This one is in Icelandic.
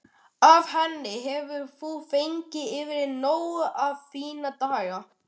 Af henni hefur þú fengið yfrið nóg um þína daga.